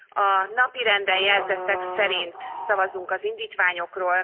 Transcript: A napirenden jelzettek szerint fogunk szavazni az indítványokról.